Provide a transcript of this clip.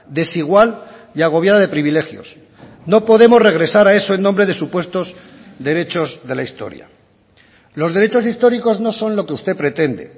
desigual y agobiada de privilegios no podemos regresar a eso en nombre de supuestos derechos de la historia los derechos históricos no son lo que usted pretende